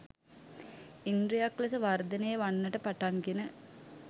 ඉන්ද්‍රියක් ලෙස වර්ධනය වන්නට පටන්ගෙන